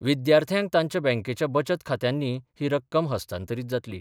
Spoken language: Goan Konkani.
विद्यार्थ्यांक तांच्या बँकेच्या बचत खात्यांनी ही रक्कम हस्तांतरीत जातली.